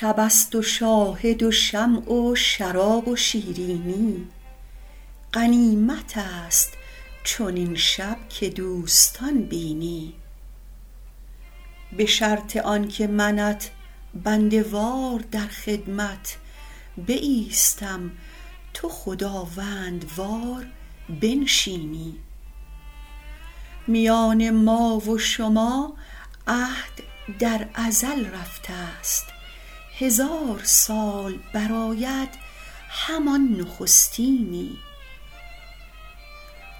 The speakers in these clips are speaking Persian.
شب است و شاهد و شمع و شراب و شیرینی غنیمت است چنین شب که دوستان بینی به شرط آن که منت بنده وار در خدمت بایستم تو خداوندوار بنشینی میان ما و شما عهد در ازل رفته ست هزار سال برآید همان نخستینی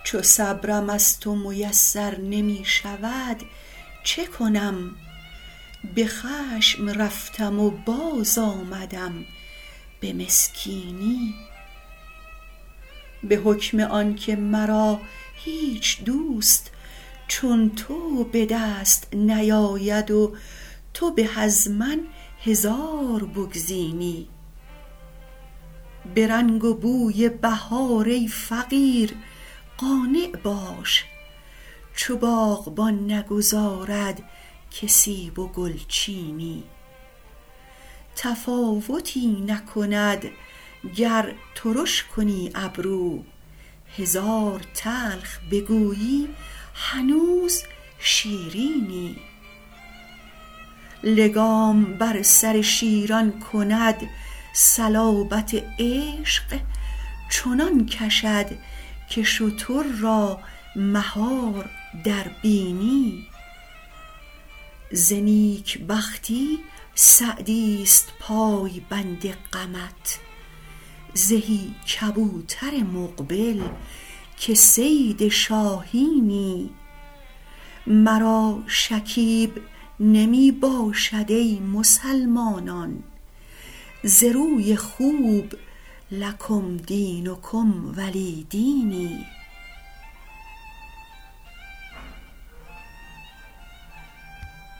چو صبرم از تو میسر نمی شود چه کنم به خشم رفتم و باز آمدم به مسکینی به حکم آن که مرا هیچ دوست چون تو به دست نیاید و تو به از من هزار بگزینی به رنگ و بوی بهار ای فقیر قانع باش چو باغبان نگذارد که سیب و گل چینی تفاوتی نکند گر ترش کنی ابرو هزار تلخ بگویی هنوز شیرینی لگام بر سر شیران کند صلابت عشق چنان کشد که شتر را مهار در بینی ز نیک بختی سعدی ست پایبند غمت زهی کبوتر مقبل که صید شاهینی مرا شکیب نمی باشد ای مسلمانان ز روی خوب لکم دینکم ولی دینی